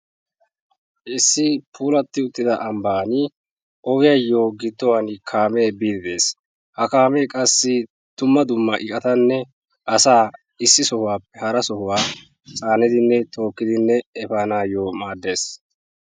Issi puulatti uttida ambbaani ogiyaayoo gidduwaara kaamee biiddi des. Ha kaamee qassi dumma dumma eqqatanne asaa issisaape harassa chaanidinne tookkidi efaanaayoo maaddes.